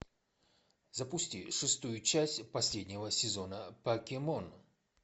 запусти шестую часть последнего сезона покемон